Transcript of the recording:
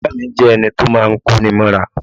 Ìya mi jẹ́ ẹni to máa ń kó ni mọ́ra